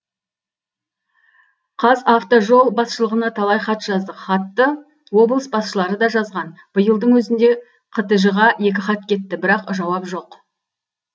қазавтожол басшылығына талай хат жаздық хатты облыс басшылары да жазған биылдың өзінде қтж ға екі хат кетті бірақ жауап жоқ